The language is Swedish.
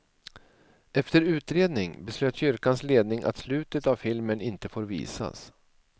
Efter utredning, beslöt kyrkans ledning att slutet av filmen inte får visas.